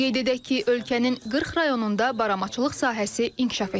Qeyd edək ki, ölkənin 40 rayonunda baramaçılıq sahəsi inkişaf etdirilir.